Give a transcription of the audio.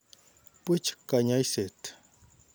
Puch kanyoiset.